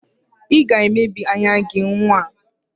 Ị ga-emebi anya gị nwa!